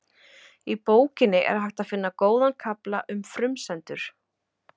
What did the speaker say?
Í bókinni er hægt að finna góðan kafla um frumsendur.